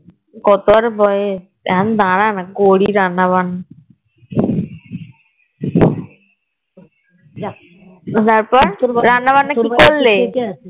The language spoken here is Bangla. কত আর বয়েস এখন দ্বারা না করবি রান্না বান্না যাক তারপর রান্না বান্না কি করলে